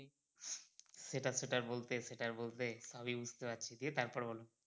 সেটা সেটা আর বলতে সেটা আর বলতে সবই বুঝতে পারছি দিয়ে তারপরে বলো